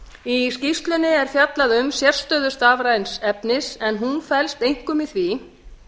í skýrslunni er fjallað um sérstöðu stafræns efnis en hún felst einkum í því